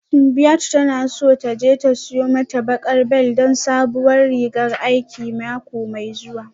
Simbiat tana so ta je ta siyo mata baƙar bel don sabuwar rigan aiki mako mai zuwa